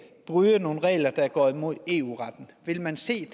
bryde nogle regler der går imod eu retten vil man se